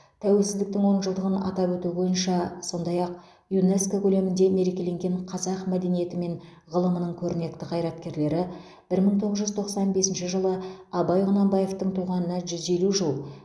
тәуелсіздіктің он жылдығын атап өту бойынша сондай ақ юнеско көлемінде мерекеленген қазақ мәдениеті мен ғылымының көрнекті қайраткерлері бір мың тоғыз жүз тоқсан бесінші жылы абай құнанбаевтың туғанына жүз елу жыл